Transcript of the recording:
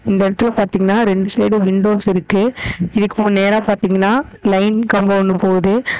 இந்த எடத்துல பாத்திங்கன்னா ரெண்டு சைடும் விண்டோஸ் இருக்கு இதுக்கு நேரா பாத்திங்கன்னா லைன் கம்போ ஒன்னு போவுது.